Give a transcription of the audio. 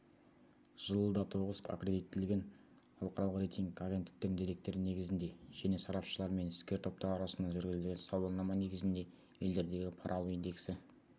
жылы датоғыз аккредиттелген халықаралық рейтинг агенттіктерінің деректері негізінде және сарапшылар мен іскер топтар арасында жүргізілген сауалнама негізінде елдердегі пара алу индексі